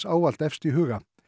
ávallt efst í huga